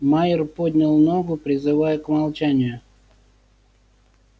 майер поднял ногу призывая к молчанию